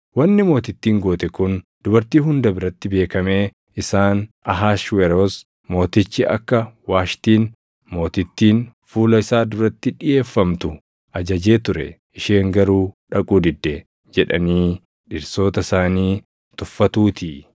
Wanni mootittiin goote kun dubartii hunda biratti beekamee isaan, ‘Ahashweroos Mootichi akka Waashtiin Mootittiin fuula isaa duratti dhiʼeeffamtu ajajee ture; isheen garuu dhaquu didde’ jedhanii dhirsoota isaanii tuffatuutii.